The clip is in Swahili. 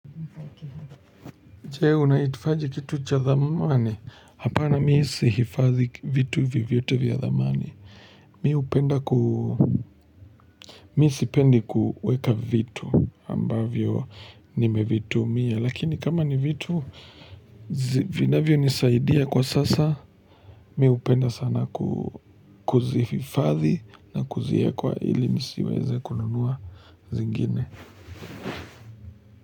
Jee, unaitifaji kitu cha dhamani. Hapana mi sihifathi vitu vyovyote vya dhamani. Mi upenda ku Miisi pendi kuweka vitu. Ambavyo nimevitumia. Lakini kama ni vitu, zi vinavyo nisaidia kwa sasa. Mi upenda sana ku kuzifathi na kuzia kwa ili nisiweze kununua zingine.